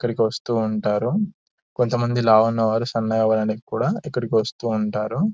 ఇక్కడకి వస్తుంటారు కొంత మంది లావుగా ఉన్నవారు సన్నగా అవ్వడానికి కూడా ఇక్కడికి వస్తుంటారు.